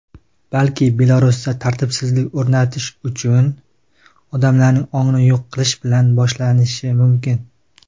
balki Belarusda tartibsizlik o‘rnatish uchun odamlarning "ongini yo‘q qilish" bilan boshlanishi mumkin.